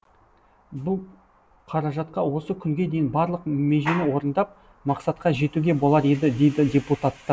бұл қаражатқа осы күнге дейін барлық межені орындап мақсатқа жетуге болар еді дейді депутаттар